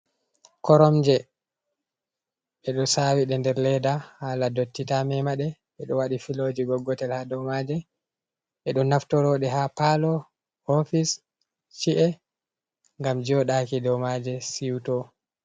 Koromje be do sawide nder ledda, hala dotti ta memade, be do wadi filoji goggotel ha domaje, bedo naftorode ha palo, hofis, chi’e, gam jodaki domaje ciuto.